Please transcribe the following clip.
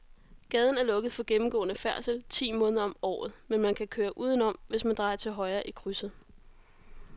Gaden er lukket for gennemgående færdsel ti måneder om året, men man kan køre udenom, hvis man drejer til højre i krydset.